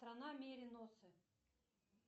страна мериносы